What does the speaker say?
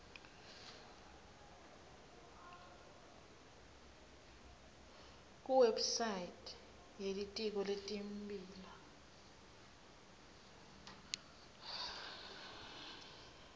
kuwebsite yelitiko letimbiwa